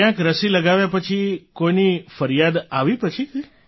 ક્યાંક રસી લગાવ્યા પછી કોઈની ફરિયાદ આવી પછી થી